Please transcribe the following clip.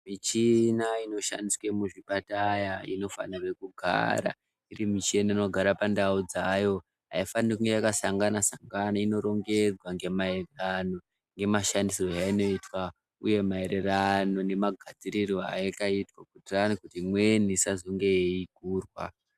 Michina inoshandiswa muzvipataya inofanirwe kugara iri micheni inogara pandau dzayo. Haifaniri kunge yakasangana-sangana inorongedzwa ngemaererano ngemashandisirwo ainoitwa, uye maererano nemagadzirirwo ayakaitwa kuitirani kuti imweni isazonge eigurwa.